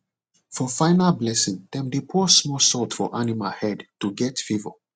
for final blessing dem dey pour small salt for animal head to get favour